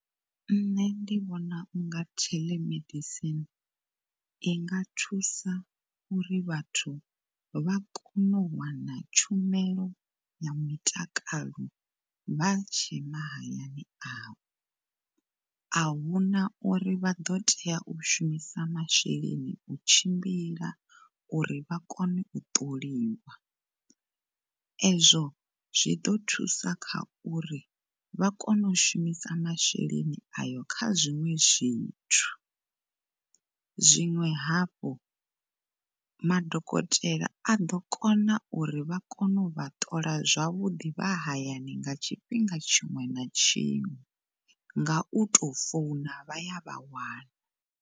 Ṋne ndi vhona u nga telemedicine inga thusaho uri vhathu vha kone u wana tshumelo ya mutakalo vha tshe ma hayani avho. Ahuna uri vha ḓo tea u shumisa masheleni u tshimbila uri vha kone u ṱoliwa ezwo zwi ḓo thusa kha uri vha kone u shumisa masheleni ayo kha zwiṅwe zwithu. Zwiṅwe hafhu ma dokotela a ḓo kona uri vha kone u vha ṱola zwavhuḓi vha hayani nga tshifhinga tshiṅwe na tshiṅwe nga uto founa vha ya vha wana.